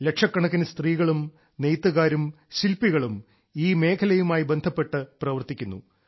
ലക്ഷക്കണക്കിന് സ്ത്രീകളും നെയ്ത്തുകാരും ശില്പികളും ഈ മേഖലയുമായി ബന്ധപ്പെട്ട് പ്രവർത്തിക്കുന്നു